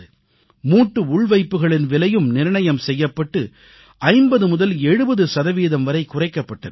மூட்டு மாற்று அறுவை சிகிச்சைக்கான கட்டணமும் நிர்ணயம் செய்யப்பட்டு 50 முதல் 70 சதவீதம் வரை குறைக்கப்பட்டு இருக்கிறது